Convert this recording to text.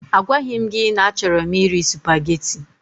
A gwaghi m gị na a chọrọ m iri supageti.